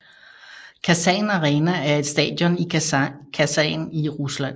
Kasan Arena er et stadion i Kasan i Rusland